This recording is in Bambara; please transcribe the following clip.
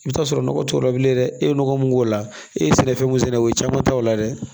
I bɛ t'a sɔrɔ nɔgɔ t'o la bilen dɛ e ye nɔgɔ mun k'o la e ye sɛnɛfɛn mun sɛnɛ o ye caman ta o la dɛ